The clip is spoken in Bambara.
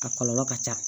A kɔlɔlɔ ka ca